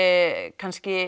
kannski